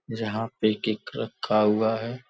यहां पे केक रखा हुआ है।